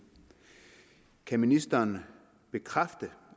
kan ministeren bekræfte